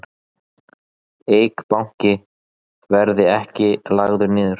Eik Banki verði ekki lagður niður